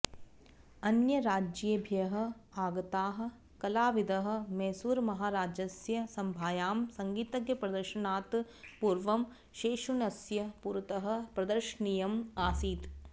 अन्यराज्येभ्यः आगताः कलाविदः मैसूरुमहाराजस्य सभायां सङ्गीतप्रदर्शनात् पूर्वं शेषण्णस्य पुरतः प्रदर्शनीयम् आसीत्